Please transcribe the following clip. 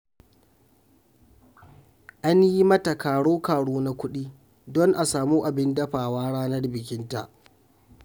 An yi mata karo-karo na kuɗi don a samu abin dafawa ranar bikinta